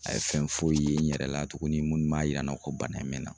A ye fɛn foyi ye n yɛrɛ la tuguni minnu b'a yira n na ko bana in bɛ n na.